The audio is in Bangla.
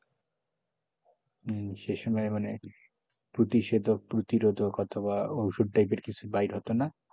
হম সে সময় মানে প্রতিষেধক প্রতিরোধক অথবা ওষুধ type কিছু বাইর হতো না,